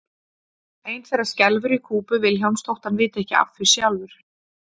Ein þeirra skelfur í kúpu Vilhjálms þótt hann viti ekki af því sjálfur.